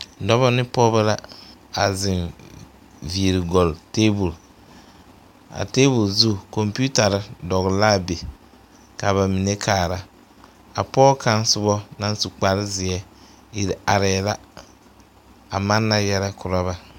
Dɔbɔ ne pɔgeba la a zeŋ viiri gɔle tebol a tebol zu kompeetare dɔgle la a be ka ba mine kaara a pɔge kaŋ soba naŋ su kpare zeɛ iri arɛɛ la a manna yɛlɛ korɔ ba.